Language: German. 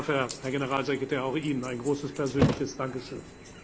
Dafür, Herr Generalsekretär, auch Ihnen ein großes persönliches Dankeschön.